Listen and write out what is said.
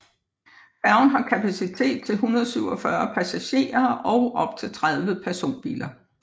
Færgen har kapacitet til 147 passagerer og op til 30 personbiler